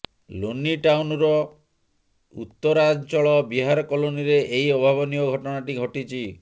ଲୋନି ଟାଉନର ଉତ୍ତରାଞ୍ଚଳ ବିହାର କଲୋନୀରେ ଏହି ଅଭାବନୀୟ ଘଟଣାଟି ଘଟିଛି